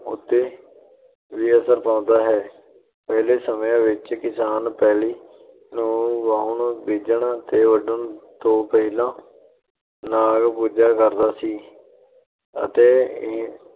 ਉੱਤੇ ਵੀ ਅਸਰ ਪਾਉਦਾ ਹੈ । ਪਹਿਲੇ ਸਮਿਆਂ ਵਿੱਚ ਕਿਸਾਨ ਪੈਲੀ ਨੂੰ ਵਾਹੁਣ, ਬੀਜਣ ਤੇ ਵੱਢਣ ਤੋਂ ਪਹਿਲਾਂ ਨਾਗ ਪੂਜਿਆ ਕਰਦਾ ਸੀ ਅਤੇ